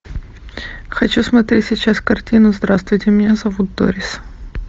хочу смотреть сейчас картину здравствуйте меня зовут дорис